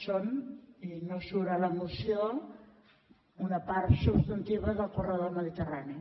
són i no surt a la moció una part substantiva del corredor mediterrani